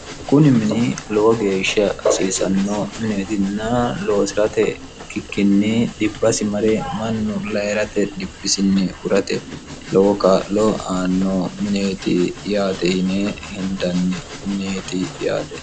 kuni mini lowo geeshsha hasiisanno mineetinna loosirate ikkkikkinni dhibbasi mare mannu lairate dhibbisinni hurate lowo ka'loo aanno mineeti yaate yine hendanni mineeti yaate